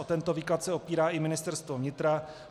O tento výklad se opírá i Ministerstvo vnitra.